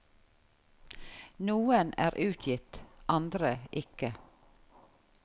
Noen er utgitt, andre ikke.